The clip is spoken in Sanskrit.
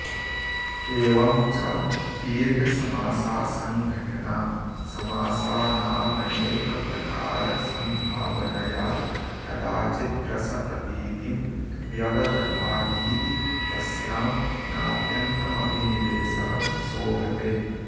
एवं च दीर्घसमासा सङ्घटना समासानामनेकप्रकारसम्भावनया कदाचिद्रसप्रतीतिं व्यवदधातीति तस्यां नात्यन्तमभिनिवेशः शोभते